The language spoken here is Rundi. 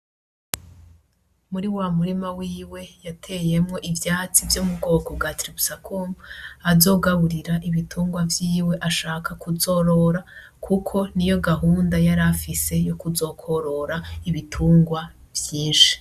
Muri wamurima wiwe yateyemwo ivyatsi vyo mubwoko bwa tiribusakumu azogaburira ibitungwa vyiwe ashaka kuzorora kuko niyo gahunda yari afise yo kuzokworora ibitungwa vyinshi